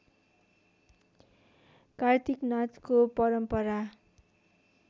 कार्तिक नाचको परम्परा